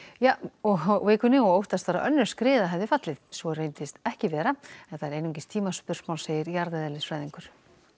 og vikunni og óttast var að önnur skriða hefði fallið svo reyndist ekki vera en það er einungis tímaspursmál segir jarðeðlisfræðingur